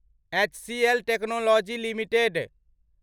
HCL Technologies limited